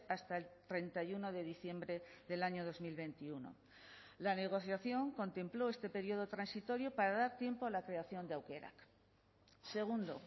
hasta el treinta y uno de diciembre del año dos mil veintiuno la negociación contempló este periodo transitorio para dar tiempo a la creación de aukerak segundo